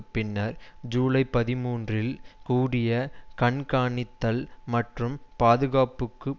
பின்னர் ஜூலை பதிமூன்றுல் கூடிய கண்காணித்தல் மற்றும் பாதுகாப்புக்குப்